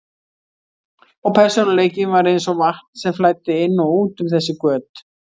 Og persónuleikinn var eins og vatn sem flæddi inn og út um þessi göt.